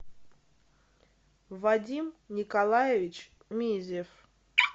вадим николаевич мизев